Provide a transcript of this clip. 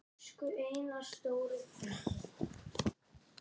Koltvíildi er algeng gastegund í eldgosum.